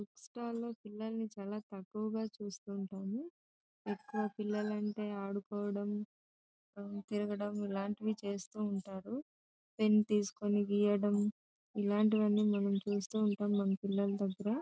book stores లో పిల్లల్ని చాల తక్కువుగా చూస్తు ఉంటాము ఎక్కువ పిల్లలు అంటే ఆడుకోవడం తిరగడం ఇల్లాంటివి చేస్తూ ఉంటారు పెన్ తీసుకొని గీయడం ఇల్లాంటివి అని మనం చూస్తూ ఉంటాం మన పిల్లలు దగ్గర --